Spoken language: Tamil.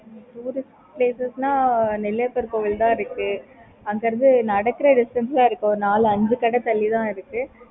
okay mam